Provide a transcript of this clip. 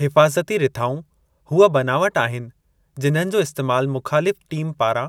हिफ़ाज़ती रिथाऊं हूअ बनावट आहिनि जिन्हनि जो इस्तैमालु मुख़ालिफ़ु टीम पारां